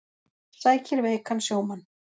Sækir veikan sjómann